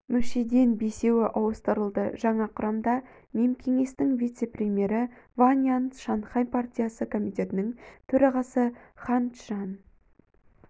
мүшеден бесеуі ауыстырылды жаңа құрамына мемкеңестің вице-премьері ван ян шанхай партиясы комитетінің төрағасы хань чжан